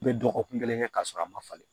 I bɛ dɔgɔkun kelen kɛ k'a sɔrɔ a ma falen